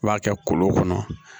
I b'a kɛ kolon kɔnɔ